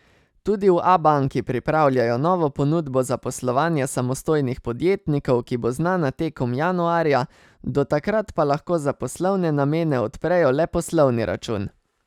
Tudi v Abanki pripravljajo novo ponudbo za poslovanje samostojnih podjetnikov, ki bo znana tekom januarja, do takrat pa lahko za poslovne namene odprejo le poslovni račun.